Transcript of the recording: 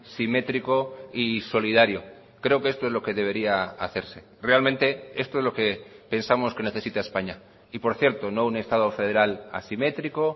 simétrico y solidario creo que esto es lo que debería hacerse realmente esto es lo que pensamos que necesita españa y por cierto no un estado federal asimétrico